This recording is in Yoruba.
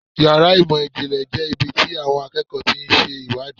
Yàrá ìmọ̀ ìjìnlẹ̀ jẹ́ ibi tí àwọn akẹ́kọ̀ọ́ ti ń ṣe iṣẹ́ ìwádìí.